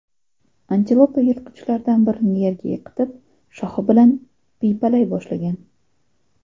Antilopa yirtqichlardan birini yerga yiqitib, shoxi bilan piypalay boshlagan.